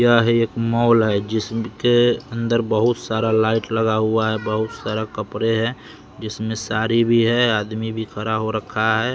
यह एक मॉल है जिसके अंदर बहुत सारा लाइट लगा हुआ है बहुत सारा कपड़े हैं जिसमें साड़ी भी है आदमी भी खड़ा हो रखा है।